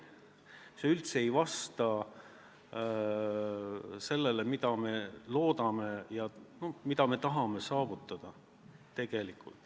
See üldse ei vasta sellele, mida me loodame ja tahame tegelikult saavutada.